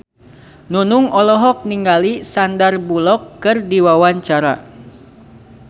Nunung olohok ningali Sandar Bullock keur diwawancara